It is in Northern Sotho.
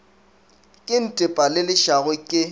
ke ntepa le lešago ke